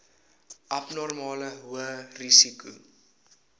abnormale hoë risiko